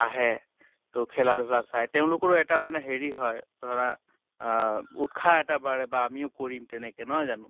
আহে ত খেলা ধুলা চায় তেওঁলোকৰো এটা মানে হেৰি হয় ধৰা আহ উৎসাহ এটা বাঢ়ে বা আমিও কৰিম তেনেকে নহয় জানো?